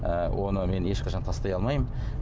ііі оны мен ешқашан тастай алмаймын